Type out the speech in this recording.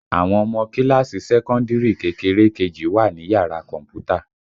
Àwọn ọmọ kíláàsì sẹ́kọ́ndìrì kékeré kejì wà ní yàrá kọ̀m̀pútà